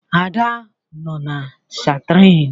Ada nọ na Stiarin